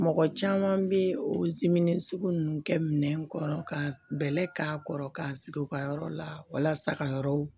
Mɔgɔ caman bɛ sugu ninnu kɛ minɛn kɔnɔ ka bɛlɛ k'a kɔrɔ k'a sigi u ka yɔrɔ la walasa ka yɔrɔw